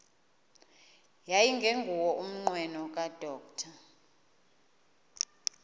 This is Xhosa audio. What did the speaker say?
yayingenguwo umnqweno kadr